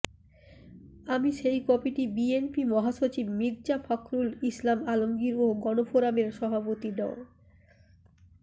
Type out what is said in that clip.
আমি সেই কপিটি বিএনপি মহাসচিব মির্জা ফখরুল ইসলাম আলমগীর ও গণফোরামের সভাপতি ড